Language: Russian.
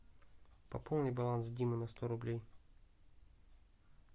пополни баланс димы на сто рублей